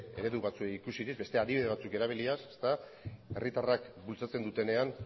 eredu batzuei ikusirik beste adibide batzuk erabiliaz herritarrak bultzatzen dutenean